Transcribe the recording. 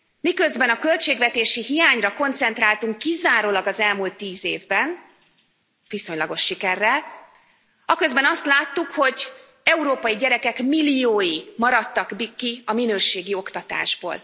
Miközben a költségvetési hiányra koncentráltunk kizárólag az elmúlt 10 évben viszonylagos sikerrel aközben azt láttuk, hogy európai gyerekek milliói maradtak ki a minőségi oktatásból.